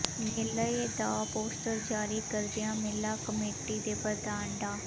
ਮੇਲੇ ਦਾ ਪੋਸਟਰ ਜਾਰੀ ਕਰਦਿਆਂ ਮੇਲਾ ਕਮੇਟੀ ਦੇ ਪ੍ਰਧਾਨ ਡਾ